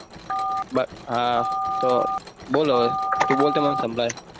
હા તો બોલ હવે તું બોલ તો મન સંભળાય